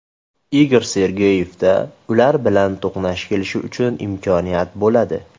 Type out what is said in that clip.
Igor Sergeyevda ular bilan to‘qnash kelishi uchun imkoniyat bo‘ladi.